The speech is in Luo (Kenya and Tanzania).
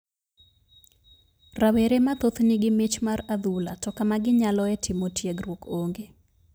Rawere mathoth ni gi mich mar adhula to kama ginyaloe timo tiegruok ong'e.